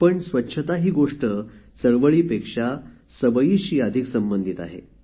पण स्वच्छता ही गोष्ट चळवळीपेक्षा सवयीशी अधिक संबंधीत आहे